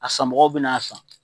A sanmɔgɔw bina san